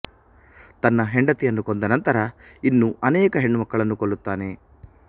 ತನ್ನ ಹೆಂಡತಿಯನ್ನು ಕೊಂದ ನಂತರ ಇನ್ನೂ ಅನೇಕ ಹೆಣ್ಣು ಮಕ್ಕಳನ್ನು ಕೊಲ್ಲುತ್ತಾನೆ